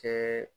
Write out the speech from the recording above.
Kɛ